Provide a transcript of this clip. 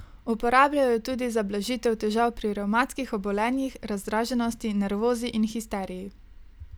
Uporabljajo jo tudi za blažitev težav pri revmatskih obolenjih, razdraženosti, nervozi in histeriji.